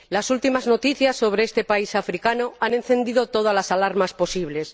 Las últimas noticias sobre este país africano han encendido todas las alarmas posibles.